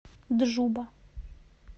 джуба